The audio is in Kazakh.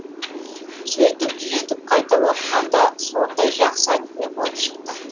сөйтіп түзетіп қайта оқығанда сондай жақсы әңгіме болып шықты